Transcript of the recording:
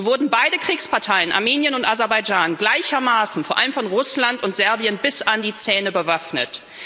So wurden beide Kriegsparteien Armenien und Aserbaidschan gleichermaßen vor allem von Russland und Serbien bis an die Zähne bewaffnet.